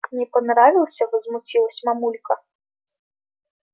не понравился возмутилась мамулька